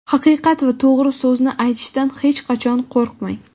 "Haqiqat va to‘g‘ri so‘zni aytishdan hech qachon qo‘rqmang".